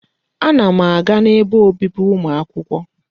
Ana m aga n'ebe obibi ụmụ akwụkwọ.